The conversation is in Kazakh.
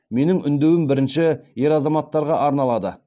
менің үндеуім бірінші ер азаматтарға арналады